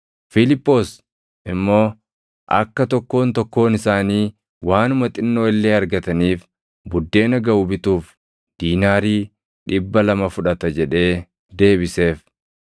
Fiiliphoos immoo, “Akka tokkoon tokkoon isaanii waanuma xinnoo illee argataniif buddeena gaʼu bituuf diinaarii + 6:7 Diinaariin tokko mindaa hojjetaan tokko guyyaatti argatu ture. dhibba lama fudhata” jedhee deebiseef.